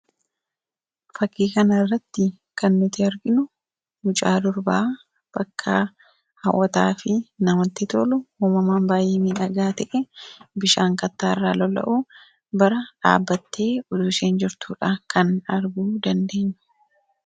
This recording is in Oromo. Fakkii kana irratti kan nuti arginu mucaa durbaa bakka haawwataa fi namatti tolu uumamaan baay'ee midhagaa te'e bishaan kattaa irraa lola'u bira dhaabbattee jirtuudha kan arguu dandeenyu.